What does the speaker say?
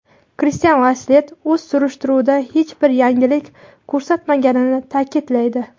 Kristian Lasslett o‘z surishtiruvida hech bir yangilik ko‘rsatmaganini ta’kidlaydi.